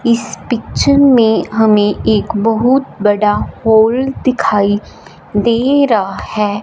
इस पिक्चर में हमें एक बहुत बड़ा हॉल दिखाई दे रहा हैं।